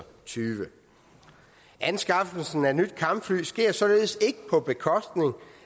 tyve anskaffelsen af nye kampfly sker således ikke på bekostning